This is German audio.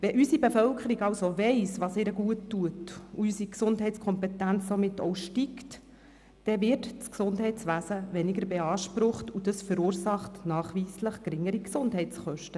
Wenn unsere Bevölkerung also weiss, was ihr gut tut, und die Gesundheitskompetenz steigt, wird das Gesundheitswesen weniger beansprucht, und dies verursacht nachweislich geringere Gesundheitskosten.